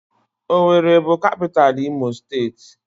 Owerri bụ kapitalụ imo steeti.